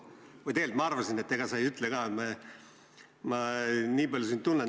Või tegelikult ma arvasin, et ega sa seda ei ütle ka – nii palju ma sind tunnen.